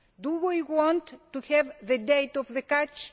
Do we want to have the date of the catch?